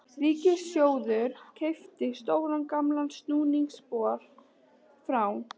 Ríkissjóður keypti stóran gamlan snúningsbor frá